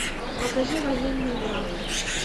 покажи военную драму